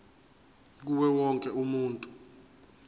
kuwo wonke umuntu